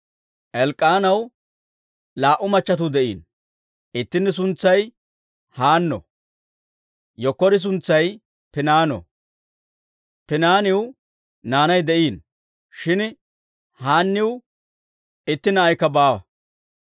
Elk'k'aanaw laa"u machchattiuu de'iino; ittini suntsay Haanno; yenkkori suntsay Piniino. Piniinaw naanay de'iino; shin Haanniw itti na'ikka baawa.